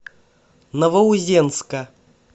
новоузенска